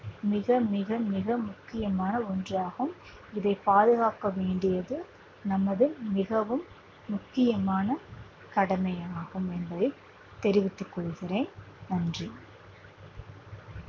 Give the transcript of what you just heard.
மிக மிக மிக முக்கியமான ஒன்றாகும் இதை பாதுகாக்க வேண்டியது நமது மிகவும் முக்கியமான கடமையாகும் என்பதை தெரிவித்துக் கொள்கிறேன் நன்றி.